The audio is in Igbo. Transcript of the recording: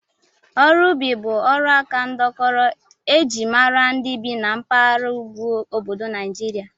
Ọrụ ubi bụ ọrụaka ndọkọrọ e ji mara ndị bi na mpaghara ugwu obodo Naijiria